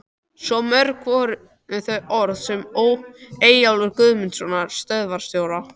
Svo mörg voru þau orð Eyjólfs Guðmundssonar, stöðvarstjóra.